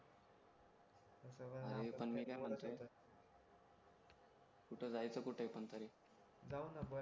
अरे पण मी काय म्हणतोय कुठे जायचं कुठे पण तरी जाऊ ना